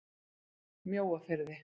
Mjóafirði